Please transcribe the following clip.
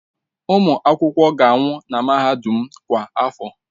Ụmụ akwụkwọ ga-anwụ na mahadum m kwa afọ.